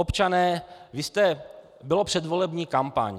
Občané - byla předvolební kampaň.